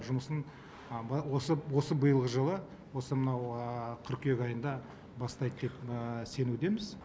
жұмысын осы осы биылғы жылы осы мынау қыркүйек айында бастайды деп сенудеміз